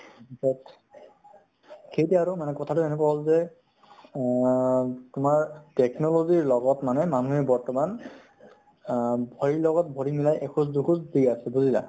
তাৰ পিছত, খেইটোৱে আৰু, কথা তো এনেকুৱা হʼল যে আ তোমাৰ technology ৰ লগত মানে মানুহে বৰ্তমান আ ভৰি লগত বৰি মিলাই, এখোজ দুখোজ দি আছে , বুজিলা ?